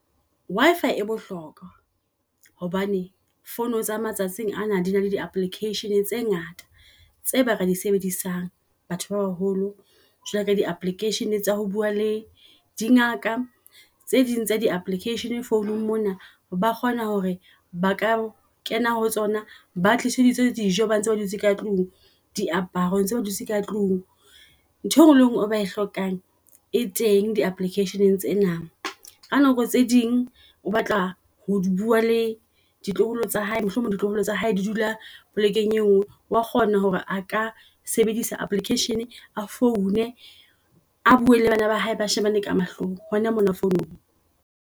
Wi-fi e bohlokwa hobane phone tsa matsatsing ana di na le di applications tse ngata tse ba ka di sebedisang batho ba baholo jwalo ka di application tsa ho bua le di ngaka. Tse ding tsa di application founung mona ba kgona hore ba ka kena ho tsona, ba tliseditse dijo, ba ntse ba dutse ka tlung di aparo tse ba dutse ka tlung. Ntho enngwe le enngwe e ba e hlokang e teng. Di-applications tsena, ka nako tse ding o batla ho bua le ditloholo tsa hae mohlomong ditloholo tsa hae di dula polekeng e ngwe wa kgona hore a ka sebedisa application a foune a bue le bana ba hae ba shebane ka mahlong hona mona founung.